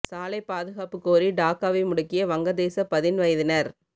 சாலைப் பாதுகாப்பு கோரி டாக்காவை முடக்கிய வங்க தேசப் பதின் வயதினர்